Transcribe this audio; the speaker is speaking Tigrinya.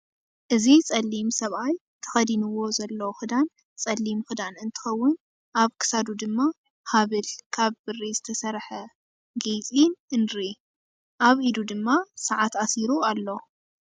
እዚ ፀሊም ሰብኣይ ተከዲንዎ ዘሎ ክዳን ፀሎም ክዳን እንትከውን ኣብ ክሳዱ ድማ ሃበል ካብ ብሪ ዝተሰርሓ ጌሪ እንኤ። ኣብ ኢዱ ድማ ሰዓት ኣሲሩ ኣሎ።